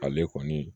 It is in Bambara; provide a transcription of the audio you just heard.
Ale kɔni